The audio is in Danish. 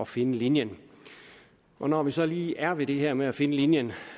finde linjen når vi så lige er ved det her med at finde linjen